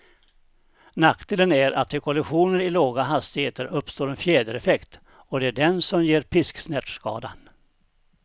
Nackdelen är att vid kollisioner i låga hastigheter uppstår en fjädereffekt, och det är den som ger pisksnärtskadan.